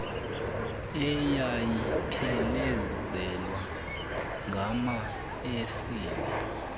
eyayiphelezelwa ngama esile